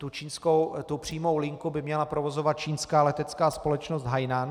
Tu přímou linku by měla provozovat čínská letecká společnost Hainan.